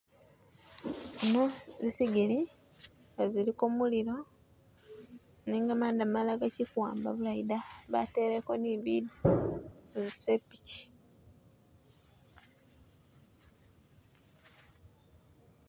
Zino zisigili nga ziliko mulilo nenga manda malala gachikuwamba bulayi da bareleko ni bidyo muzisepichi.